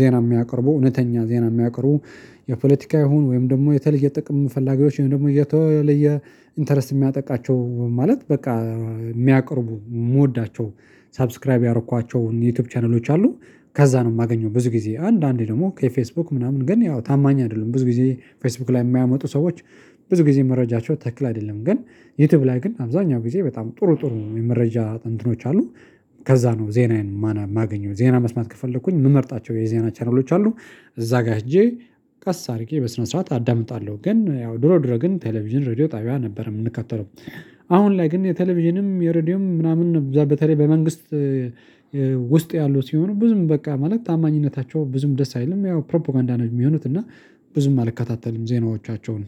ዜና የሚያቀርቡ እውነተኛ ዜና የሚያቀርቡ። የፖለቲካ ይሁን ወይም ደግሞ የተለየ ጥቅም ፈላጊዎች ወይም ደግሞ የተለየ ኢንተረስት የሚያጠቃቸው ማለት በቃ የሚያቅርቡ የምወዳቸው ሰብስክራይብ ያደረኳቸውን የዩቲዩብ ቻናሎች አሉ። ከዛ ነው የማገኘው ብዙ ጊዜ አንዳንዴ ደግሞ ከፌስቡክ ምናምን ግን ያው ታማኝ አይደለም ብዙ ጊዜ ፌስቡክ ላይ የሚያመጡ ሰዎች። ብዙ ጊዜ መረጃቸው ተክል አይደለም ግን ዩቲዩብ ላይ ግን አብዛኛው ጊዜ በጣም ጥሩ ጥሩ የመረጃ እንትኖች አሉ። ከዛ ነው ዜናዬን ማና ማገኘው ዜና መስማት ከፈለኩኝ የምመርጣቸው የዜና ቻናሎች አሉ። እዛ ጋር ሄጄ ቀስ አድርጌ በስነ ስርዓት አዳምጣለሁ። ግን ያው ድሮ ድሮ ግን ቴሌቪዥን ሬድዮ ጣቢያ ነበር የምንከተለው። አሁን ላይ ግን የቴሌቪዥንም የሬዲዮም ምናምን ነው እዛ በተለይ በመንግስት ውስጥ ያለው ሲሆን ብዙም በቃ ማለት ታማኝነታቸው ብዙም ደስ አይልም ያው ፕሮፖጋንዳ ነው የሚሆኑት። እና ብዙም አልከታተልም ዜናዎቻቸውን